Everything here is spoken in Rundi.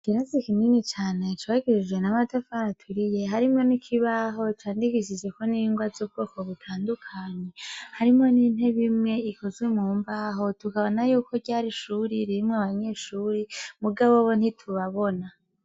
Viransi ikimini cane cobagirije namatafara aturiye harimwo n'ikibaho candikishizeko n'ingwa z'ubwoko butandukanye harimwo n'intebimwe ikuzwe mu mbaho tukabana yuko ryari ishuri ririmwe abanyeshuri mugabo bo ntitubabona.